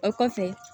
O kɔfɛ